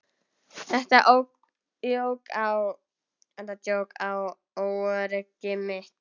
Þetta jók á óöryggi mitt.